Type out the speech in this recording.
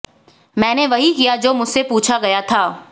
मैंने वही किया जो मुझसे पूछा गया था